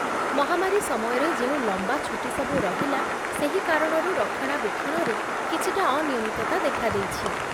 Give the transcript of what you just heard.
ମହାମାରୀ ସମୟରେ ଯେଉଁ ଲମ୍ବା ଛୁଟିସବୁ ରହିଲା, ସେହି କାରଣରୁ ରକ୍ଷଣାବେକ୍ଷଣରେ କିଛିଟା ଅନିୟମିତତା ଦେଖା ଦେଇଛି